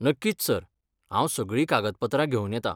नक्कीच सर! हांव सगळीं कागदपत्रां घेवन येतां.